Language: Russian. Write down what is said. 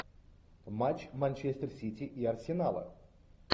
матч манчестер сити и арсенала